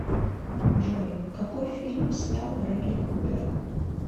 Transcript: джой какой фильм снял брэдли купер